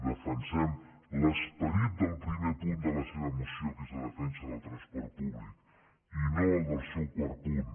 defensem l’esperit del primer punt de la seva moció que és la defensa del transport públic i no el del seu quart punt